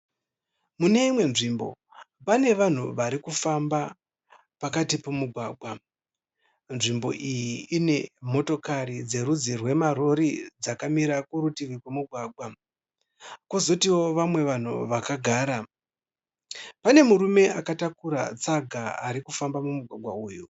Mune imwe nzvimbo pane vanhu varikufamba pakati pomugwagwa. Nzvimbo iyi ine motokari dzerudzi rwemarori dzakamira kurutivi kwomugwagwa kwozotiwo vamwe vanhu vakagara. Pane murume akatakura tsaga arikufamba mumugwagwa uyu